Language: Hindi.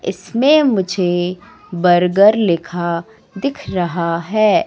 इसमे मुझे बर्गर लिखा दिख रहा हैं।